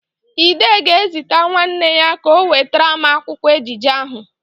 Ide ga-ezite nwanne ya ka ọ wetara m akwụkwụ ejije ahụ.